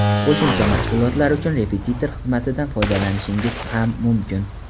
Qo‘shimcha mashg‘ulotlar uchun repetitor xizmatidan foydalanishingiz ham mumkin.